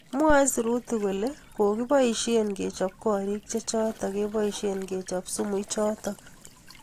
Mwae sirutik kole kokiboishe kechob korik che chotok keboishe kechop sumu ichotok.